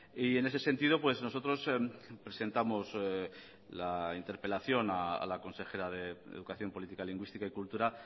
y en ese sentido nosotros presentamos la interpelación a la consejera de educación política lingüística y cultura